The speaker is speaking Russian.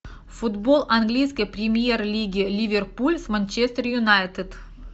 футбол английской премьер лиги ливерпуль с манчестер юнайтед